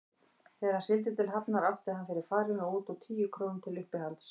Þegar hann sigldi til Hafnar átti hann fyrir farinu út og tíu krónur til uppihalds.